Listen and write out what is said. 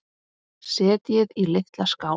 Setjið í litla skál.